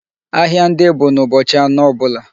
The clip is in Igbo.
Ahịa ndị bụ n'ụbọchị anọ ọbụla.